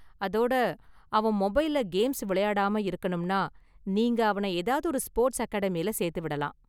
அதோட, அவன் மொபைல்ல கேம்ஸ் விளையாடாம இருக்கணும்னா, நீங்க அவனை ஏதாவது ஒரு ஸ்போர்ட்ஸ் அகாடமியில சேர்த்து விடலாம்.